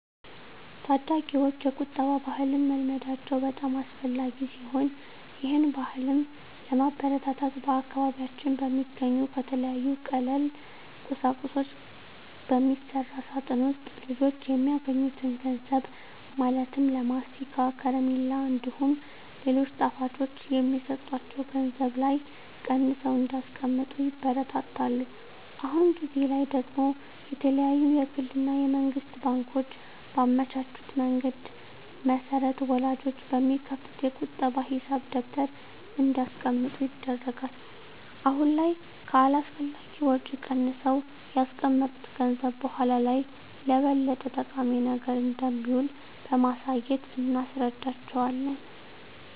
ታዳጊወች የቁጠባ ባህልን መልመዳቸው በጣም አስፈላጊ ሲሆን ይህን ባህልም ለማበረታታት በአካባቢያችን በሚገኙ ከተለያዩ ቀላል ቁሳቁሶች በሚሰራ ሳጥን ውስጥ ልጆች የሚያገኙትን ገንዘብ ማለትም ለማስቲካ፣ ከረሜላ እንዲሁም ሌሎች ጣፋጮች የሚሰጣቸው ገንዘብ ላይ ቀንሰው እንዲያስቀምጡ ይበረታታሉ። አሁን ጊዜ ላይ ደግሞ የተለያዩ የግል እና የመንግስት ባንኮች ባመቻቹት መንገድ መሰረት ወላጆች በሚከፍቱት የቁጠባ ሂሳብ ደብተር እንዲያስቀምጡ ይደረጋል። አሁን ላይ ከአላስፈላጊ ወጪ ቀንሰው ያስቀመጡት ገንዘብ በኃላ ላይ ለበለጠ ጠቃሚ ነገር እንደሚውል በማሳየት እናስረዳቸዋለን።